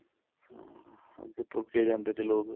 ਹਾਂ ਅੱਗੇ ਤੁਰ ਕੇ ਜਾਂਦੇ ਤੇ ਲੋਕ